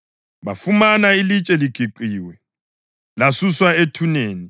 Bafumana ilitshe ligiqiwe, lasuswa ethuneni,